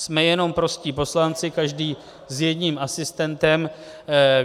Jsme jenom prostí poslanci, každý s jedním asistentem.